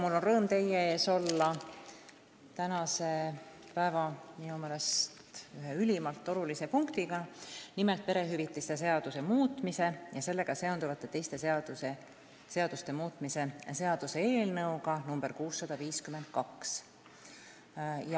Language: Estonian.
Mul on rõõm olla teie ees minu meelest tänase päeva ühe ülimalt olulise punktiga, nimelt perehüvitiste seaduse muutmise ja sellega seonduvalt teiste seaduste muutmise seaduse eelnõuga 652.